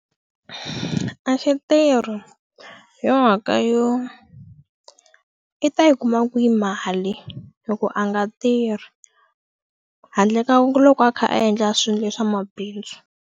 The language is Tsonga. A xi tirhi hi yo mhaka yo i ta yi kuma kwihi mali hi ku a nga tirhi handle ka loko a kha a endla swilo leswa mabindzu.